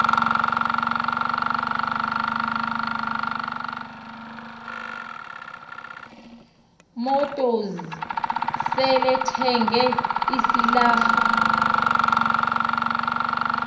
motors selethenge isilarha